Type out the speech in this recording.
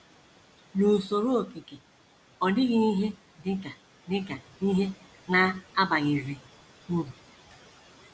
“ N’USORO okike... ọ dịghị ihe dị ka dị ka ihe na - abaghịzi uru. ”